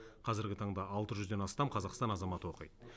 қазіргі таңда алты жүзден астам қазақстан азаматы оқиды